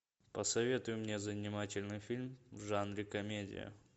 посоветуй мне занимательный фильм в жанре комедия